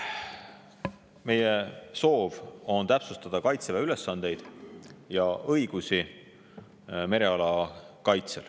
Meie soov on täpsustada Kaitseväe ülesandeid ja õigusi mereala kaitsel.